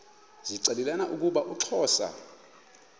zixelelana ukuba uxhosa